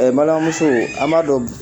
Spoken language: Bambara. Ɛɛ n balimamuso an b'a dɔn gɛ